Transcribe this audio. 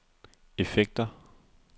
effekter